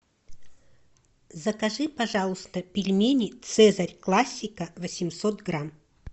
закажи пожалуйста пельмени цезарь классика восемьсот грамм